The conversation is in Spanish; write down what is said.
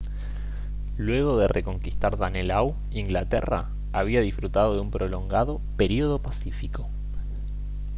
luego de reconquistar danelaw inglaterra había disfrutado de un prolongado período pacífico